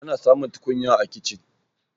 ana samun tukunya a kicin